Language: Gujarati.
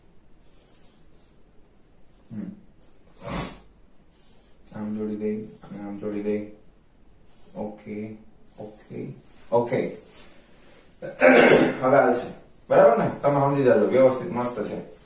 આમ જોડી દઈએ આમ જોડી દઈએ ok ok ok અહહ હવે હાલશે બરાબર ને તમે સમજી જજો વ્યવસ્થિત મસ્ત છે